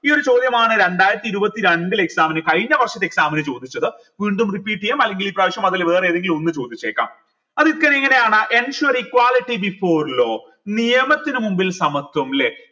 ഈ ഒരു ചോദ്യമാണ് രണ്ടായിരത്തി ഇരുപത്തിരണ്ടിലെ exam ന് കഴിഞ്ഞ വർഷത്തെ exam ന് ചോദിച്ചത് വീണ്ടും repeat എയ്യാം അല്ലെങ്കിൽ ഈ പ്രാവശ്യം അതിൽ വേറെ ഏതെങ്കിലും ഒന്ന് ചോദിച്ചേക്കാം ensure equality before law നിയമത്തിനു മുൻപിൽ സമത്വം ല്ലെ